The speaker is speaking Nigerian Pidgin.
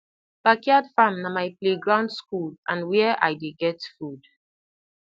backyard farm na my play ground school and where i dey get food